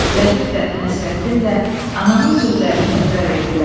Lətif də, Nəsrəddin də ananın sözlərini təkrar etdilər.